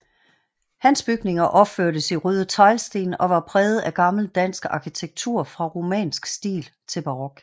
Hans bygninger opførtes i røde teglsten og var præget af gammel dansk arkitektur fra romansk stil til barok